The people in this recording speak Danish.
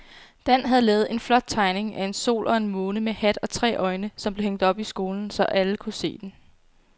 Dan havde lavet en flot tegning af en sol og en måne med hat og tre øjne, som blev hængt op i skolen, så alle kunne se den.